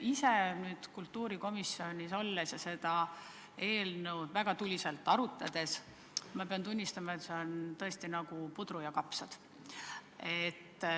Ise nüüd kultuurikomisjonis olles ja seda eelnõu väga tuliselt arutanuna pean tunnistama, et see on tõesti nagu puder ja kapsad.